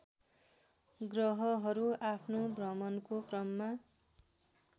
ग्रहहरू आफ्नो भ्रमणको क्रममा